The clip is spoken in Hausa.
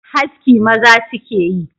Haski maza su ke yi